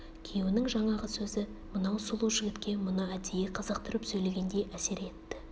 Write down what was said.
күйеуінің жаңағы сөзі мынау сұлу жігітке мұны әдейі қызықтырып сөйлегендей әсер етті